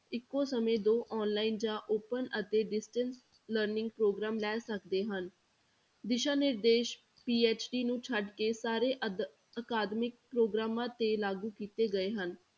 ਇੱਕੋ ਸਮੇਂ ਦੋ online ਜਾਂ open ਅਤੇ distance learning ਪ੍ਰੋਗਰਾਮ ਲੈ ਸਕਦੇ ਹਨ, ਦਿਸ਼ਾ ਨਿਰਦੇਸ਼ PhD ਨੂੰ ਛੱਡ ਕੇ ਸਾਰੇ ਅਧ~ ਅਕਾਦਮਿਕ ਪ੍ਰੋਗਰਾਮਾਂ ਤੇ ਲਾਗੂ ਕੀਤੇ ਗਏ ਹਨ।